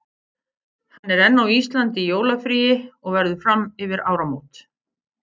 Hann er enn á Íslandi í jólafríi og verður fram yfir áramót.